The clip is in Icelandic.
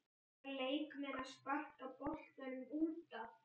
Eiga leikmenn að sparka boltanum útaf?